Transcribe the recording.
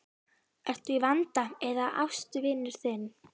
Ert þú í vanda eða ástvinur þinn?